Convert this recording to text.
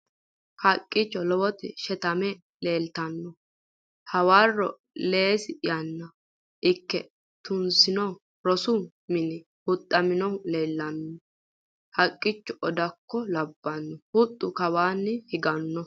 haqqicho lowoti sheetame leeltanno hawarro leehsi yaanna ikie tunsino rosu mini huxxammohu leellanni noo haqqicho odakko labbanno huxxu kawanni higanno